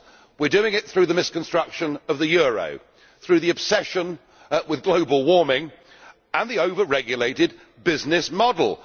We are doing it through the misconstruction of the euro, through the obsession with global warming and the over regulated business model.